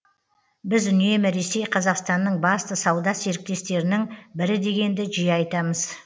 біз үнемі ресей қазақстанның басты сауда серіктестерінің бірі дегенді жиі айтамыз